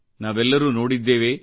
ನಾವೆಲ್ಲರೂ ನೋಡಿದ್ದೇವೆ